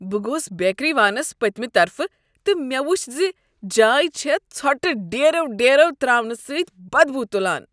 بہٕ گوس بیکری وانس پٔتۍمہ طرفہٕ تہٕ مےٚ وچھ ز یہ جاے چھےٚ ژھۄٹہ ڈیرو ڈیرو ترٛاونہٕ سۭتۍ بدبو تُلان۔